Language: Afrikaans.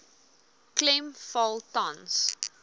klem val tans